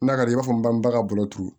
N'a ka d'i ye i b'a fɔ baa bolo turu